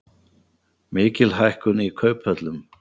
Mikil hækkun í kauphöllum